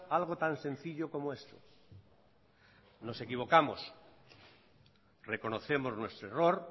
algo tan sencillo como esto nos equivocamos reconocemos nuestro error